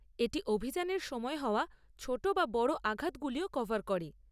এটি অভিযানের সময় হওয়া ছোট বা বড় আঘাতগুলিও কভার করে।